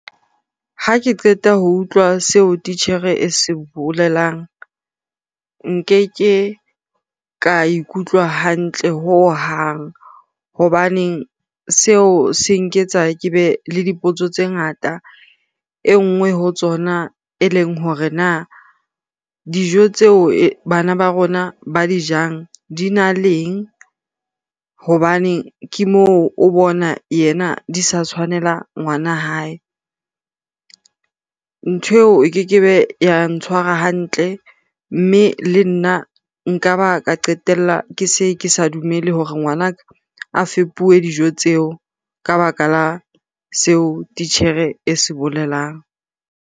Ha ke qeta ho utlwa seo titjhere e se bolelang, nkeke ka ikutlwa hantle hohang hobaneng seo se nketsa ke be le dipotso tse ngata. E nngwe ho tsona, e leng hore na dijo tseo bana ba rona ba di jang dina leng. Hobane ke moo o bona yena di sa tshwanela ngwana hae. Ntho eo e keke be ya ntshwara hantle mme le nna nka ba ka qetella ke se ke sa dumele hore ngwanaka a fepuwe dijo tseo ka baka la seo titjhere e se bolelang.